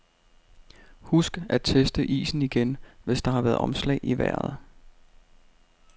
Husk at teste isen igen, hvis der har været omslag i vejret.